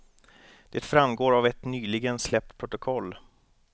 Det framgår av ett nyligen släppt protokoll.